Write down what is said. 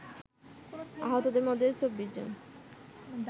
আহতদের মধ্যে ২৪ জন